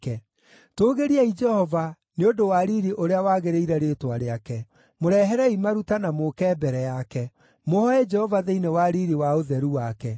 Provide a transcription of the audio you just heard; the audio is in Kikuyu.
Tũũgĩriai Jehova, nĩ ũndũ wa riiri ũrĩa wagĩrĩire rĩĩtwa rĩake. Mũreherei maruta na mũũke mbere yake; mũhooe Jehova thĩinĩ wa riiri wa ũtheru wake.